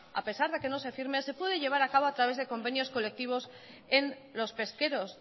a pesar de que no se firme se puede llevar a cabo a través de convenios colectivos en los pesqueros